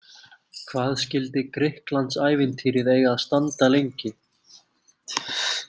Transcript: Hvað skyldi Grikklandsævintýrið eiga að standa lengi?